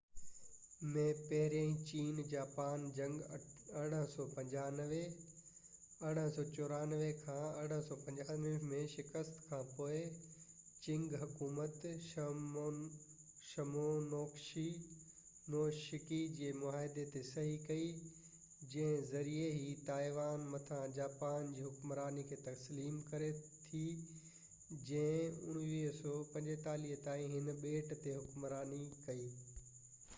1895 ۾ پهرين چين جاپان جنگ 1894-1895 ۾ شڪست کان پوءِ چنگ حڪومت شمونوسيڪي جي معاهدي تي صحيح ڪئي جنهن جي ذريعي هي تائيوان مٿان جاپان جي حڪمراني کي تسليم ڪري ٿي جنهن 1945 تائين هن ٻيٽ تي حڪمراني ڪئي